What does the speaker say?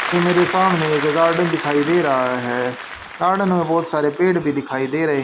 ये मेरे सामने एक गार्डन दिखाई दे रहा है गार्डन में बहुत सारे पेड़ भी दिखाई दे रहे--